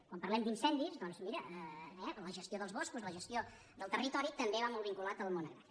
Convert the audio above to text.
quan parlem d’incendis doncs mira la gestió dels boscos la gestió del territori també va molt vinculat al món agrari